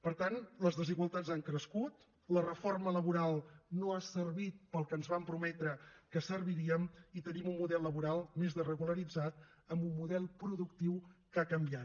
per tant les desigualtats han crescut la reforma laboral no ha servit per al que ens van prometre que serviria i tenim un model laboral més desregularitzat amb un model productiu que ha canviat